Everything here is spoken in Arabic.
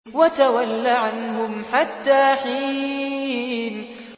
وَتَوَلَّ عَنْهُمْ حَتَّىٰ حِينٍ